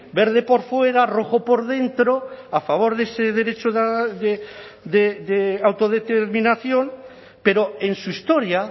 verde por fuera rojo por dentro a favor de ese derecho de autodeterminación pero en su historia